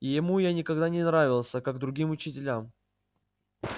ему я никогда не нравился как другим учителям